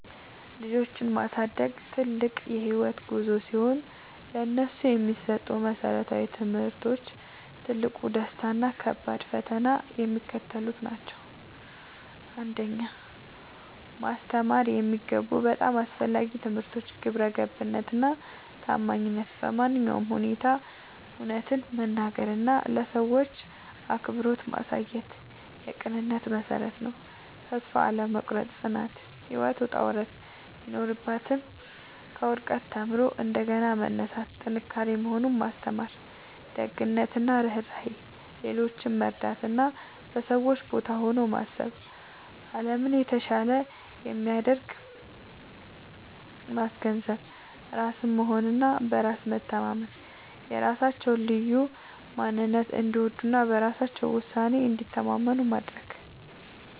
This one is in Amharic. ልጆችን ማሳደግ ትልቅ የህይወት ጉዞ ሲሆን፥ ለነሱ የሚሰጡ መሰረታዊ ትምህርቶች፣ ትልቁ ደስታ እና ከባዱ ፈተና የሚከተሉት ናቸው 1. ማስተማር የሚገቡ በጣም አስፈላጊ ትምህርቶች ግብረገብነት እና ታማኝነት በማንኛውም ሁኔታ እውነትን መናገር እና ለሰዎች አክብሮት ማሳየት የቅንነት መሠረት ነው። ተስፋ አለመቁረጥ (ጽናት)፦ ህይወት ውጣ ውረድ ቢኖራትም፣ ከውድቀት ተምሮ እንደገና መነሳት ጥንካሬ መሆኑን ማስተማር። ደግነት እና ርህራሄ፦ ሌሎችን መርዳት እና በሰዎች ቦታ ሆኖ ማሰብ አለምን የተሻለች እንደሚያደርግ ማስገንዘብ። ራስን መሆን እና በራስ መተማመን፦ የራሳቸውን ልዩ ማንነት እንዲወዱ እና በራሳቸው ውሳኔ እንዲተማመኑ ማድረግ።